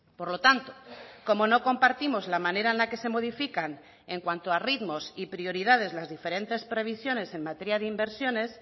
por lo tanto como no compartimos la manera en la que se modifican en cuanto a ritmos y prioridades las diferentes previsiones en materia de inversiones